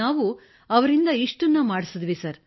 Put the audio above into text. ನಾವು ಅವರಿಂದ ಇಷ್ಟನ್ನು ಮಾಡಿಸಿದೆವು ಸರ್